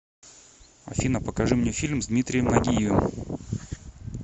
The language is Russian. афина покажи мне фильм с дмитрием нагиевым